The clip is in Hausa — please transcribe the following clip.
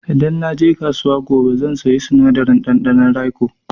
Idan na je kasuwa gobe zan saya sinadarin ɗanɗanon raiko.